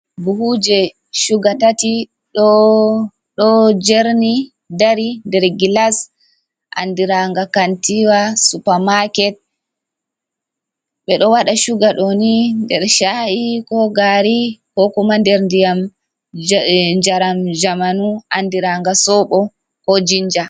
Buhuuje chuga tati, ɗo jerni dari nder gilas andiranga kantiwa "supermarket". Ɓe ɗo waɗa chuga ɗo ni, nder sha'i ko gaari, ko kuma nder ndiƴam njaram jamanu andiranga soobo ko jinja.